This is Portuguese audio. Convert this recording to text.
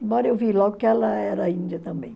Embora eu vi logo que ela era índia também.